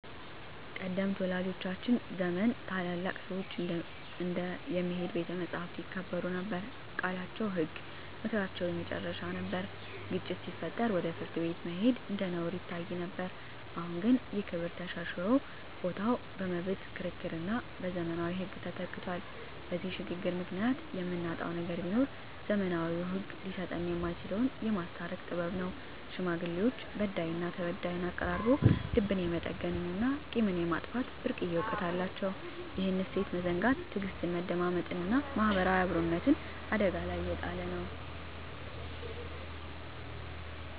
ቀደምት ወላጆቻችን ዘመን ታላላቅ ሰዎች እንደ "የሚሄድ ቤተ መጻሕፍት" ይከበሩ ነበር፤ ቃላቸው ህግ፣ ምክራቸው የመጨረሻ ነበር። ግጭት ሲፈጠር ወደ ፍርድ ቤት መሄድ እንደ ነውር ይታይ ነበር። አሁን ግን ይህ ክብር ተሸርሽሮ ቦታው በመብት ክርክርና በዘመናዊ ህግ ተተክቷል። በዚህ ሽግግር ምክንያት የምናጣው ነገር ቢኖር፣ ዘመናዊው ህግ ሊሰጠን የማይችለውን "የማስታረቅ ጥበብ" ነው። ሽማግሌዎች በዳይና ተበዳይን አቀራርበው ልብን የመጠገንና ቂምን የማጥፋት ብርቅዬ እውቀት አላቸው። ይህን እሴት መዘንጋት ትዕግስትን፣ መደማመጥንና ማህበራዊ አብሮነትን አደጋ ላይ እየጣለ ነው።